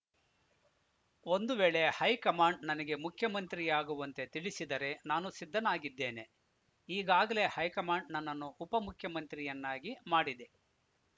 ಒಂದು ವೇಳೆ ಹೈಕಮಾಂಡ್‌ ನನಗೆ ಮುಖ್ಯಮಂತ್ರಿಯಾಗುವಂತೆ ತಿಳಿಸಿದರೆ ನಾನು ಸಿದ್ಧನಾಗಿದ್ದೇನೆ ಈಗಾಗಲೇ ಹೈಕಮಾಂಡ್‌ ನನ್ನನ್ನು ಉಪಮುಖ್ಯಮಂತ್ರಿಯನ್ನಾಗಿ ಮಾಡಿದೆ